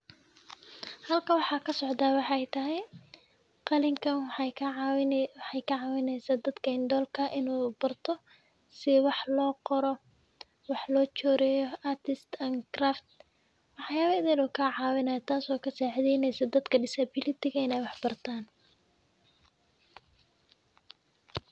Halkan waxaa kasocdaa waxey tahay qalinka waxey kacawinesa art and craft waxyaaba idhil uu kacawineso taas oo kasicedheneso dadka disability ah in ey wax bartaan.